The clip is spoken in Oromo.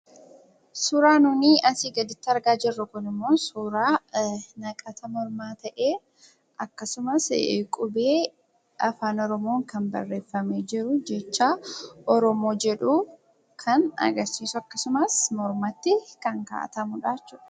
Suuraan nun asii gaditti argaa jirru immoo, suuraa naqata mormaa ta'ee akkasumas Qubee Afaan Oromoon kan barreeffamee jiru jecha 'Oromoo' jedhu kan agarsiisu akkasumas mormatti kan kaawwatamudha.